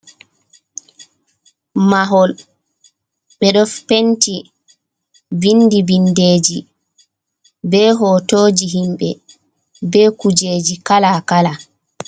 Mahol bedo penti bindi bindeji be hotoji himbe be kujeji kala kala.